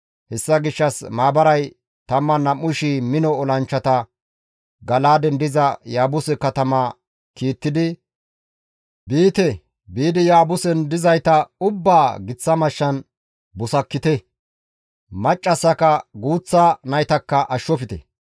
Hessa gishshas maabaray 12,000 mino olanchchata Gala7aaden diza Yaabuse katama kiittidi, «Biite; biidi Yaabusen dizayta ubbaa giththa mashshan busakkite; maccassaka guuththa naytakka ashshofte.